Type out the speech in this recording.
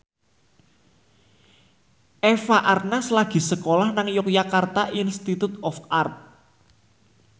Eva Arnaz lagi sekolah nang Yogyakarta Institute of Art